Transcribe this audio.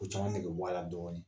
O caman negebɔ a la dɔɔnin